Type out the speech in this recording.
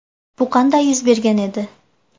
Bu qanday yuz bergan edi?